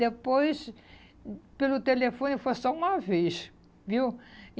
Depois, pelo telefone foi só uma vez, viu? E